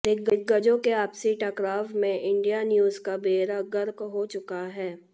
दिग्गजों के आपसी टकराव में इंडिया न्यूज का बेड़ा गर्क हो चुका है